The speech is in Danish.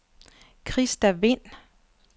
Christa Vind